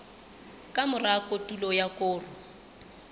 ka mora kotulo ya koro